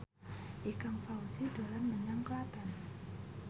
Ikang Fawzi dolan menyang Klaten